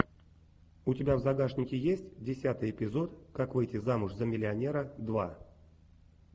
у тебя в загашнике есть десятый эпизод как выйти замуж за миллионера два